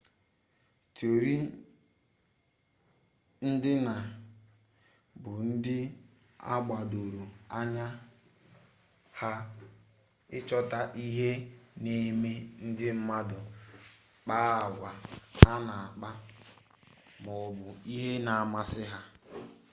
tiori ndịna bụ ndị a gbadoro anya ha ịchọta ihe na-eme ndị mmadụ kpaa agwa ha na-akpa ma ọ bụ ihe na-amasị ha